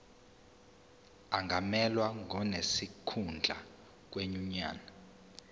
angamelwa ngonesikhundla kwinyunyane